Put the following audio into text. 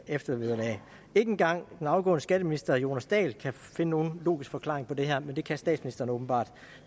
eftervederlag ikke engang den afgående skatteminister herre jonas dahl kan finde nogen logisk forklaring på det her men det kan statsministeren åbenbart